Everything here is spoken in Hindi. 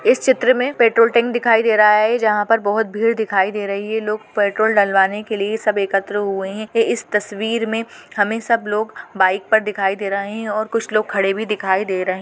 इस चित्र में पेट्रोल टैंक दिखाई दे रहा है जहां पर बहुत भीड़ दिखाई दे रही है लोग पेट्रोल डलवाने के लिए सब एकत्र हुए हैं इस तस्वीर में हमें सब लोग बाइक पर दिखाई दे रहे हैं और कुछ लोग खड़े भी दिखाई दे रहे हैं।